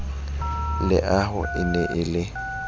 leaho e ne e le